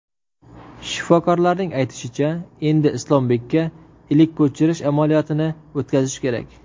Shifokorlarning aytishicha, endi Islombekda ilik ko‘chirish amaliyotini o‘tkazish kerak.